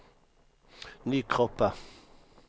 Nykroppa